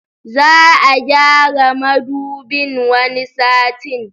Za'a gyara Madubin wani satin